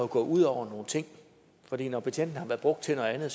gået ud over nogle ting for når betjentene har været brugt til noget andet